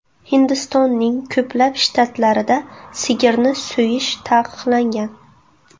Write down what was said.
Hindistonning ko‘plab shtatlarida sigirni so‘yish taqiqlangan.